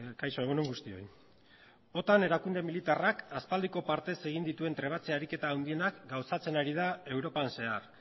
kaixo egun on guztioi otan erakunde militarrak aspaldiko partez egin dituen trebatze ariketa handienak gauzatzen ari da europan zehar